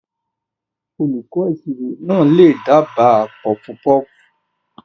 Olùkọ́ ìṣirò náà lè dábàá puffpuff.